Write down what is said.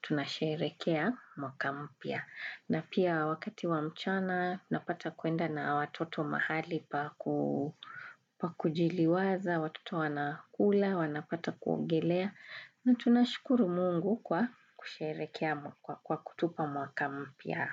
tunasherehekea mwaka mpya. Na pia wakati wa mchana napata kuenda na watoto mahali pa kujiliwaza, watoto wanakula, wanapata kuogelea na tunashukuru mungu kwa kutupa mwaka mpya.